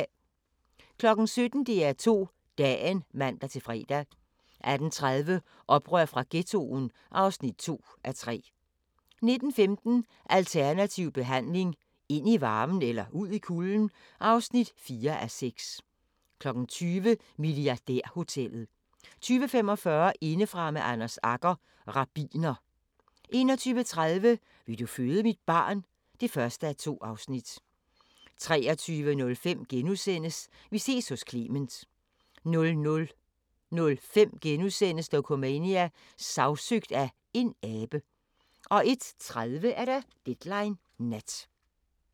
17:00: DR2 Dagen (man-fre) 18:30: Oprør fra Ghettoen (2:3) 19:15: Alternativ behandling – ind i varmen eller ud i kulden? (4:6) 20:00: Milliardærhotellet 20:45: Indefra med Anders Agger – rabbiner 21:30: Vil du føde mit barn? (1:2) 23:05: Vi ses hos Clement * 00:05: Dokumania: Sagsøgt af en abe * 01:30: Deadline Nat